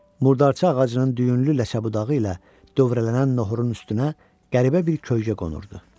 Murdarça ağacının düyünlü ləkə budağı ilə dövrələnən noxurun üstünə qəribə bir kölgə qonurdu.